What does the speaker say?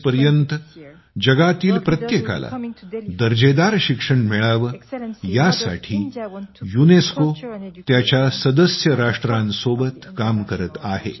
2030 पर्यंत जगातील प्रत्येकाला दर्जेदार शिक्षण मिळावे यासाठी युनेस्को त्याच्या सदस्य राष्ट्रांसोबत काम करत आहे